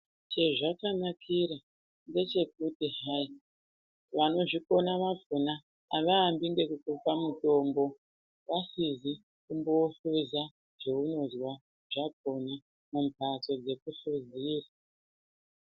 Chezvakanakira ndechekuti hayii, vanozvikona vakona, havaambi ngekukupa mitombo, vasizi kumbohleza zvaunonzwa zvakona mumbatsoo dzekuhlezeyaa.